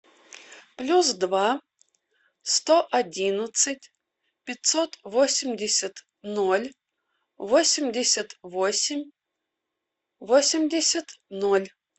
плюс два сто одиннадцать пятьсот восемьдесят ноль восемьдесят восемь восемьдесят ноль